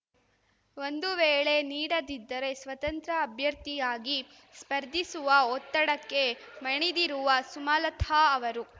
ಒಂದು ವೇಳೆ ನೀಡದಿದ್ದರೆ ಸ್ವತಂತ್ರ ಅಭ್ಯರ್ಥಿಯಾಗಿ ಸ್ಪರ್ಧಿಸುವ ಒತ್ತಡಕ್ಕೆ ಮಣಿದಿರುವ ಸುಮಲತಾ ಅವರು